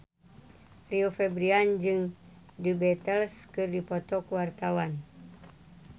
Rio Febrian jeung The Beatles keur dipoto ku wartawan